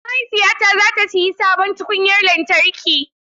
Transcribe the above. Mahaifiyata za ta sayi sabon tukunyar lantarki.